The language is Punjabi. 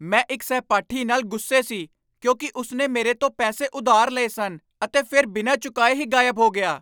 ਮੈਂ ਇੱਕ ਸਹਿਪਾਠੀ ਨਾਲ ਗੁੱਸੇ ਸੀ ਕਿਉਂਕਿ ਉਸ ਨੇ ਮੇਰੇ ਤੋਂ ਪੈਸੇ ਉਧਾਰ ਲਏ ਸਨ ਅਤੇ ਫਿਰ ਬਿਨਾਂ ਚੁਕਾਏ ਹੀ ਗਾਇਬ ਹੋ ਗਿਆ।